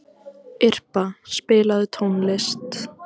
Irpa, spilaðu tónlist.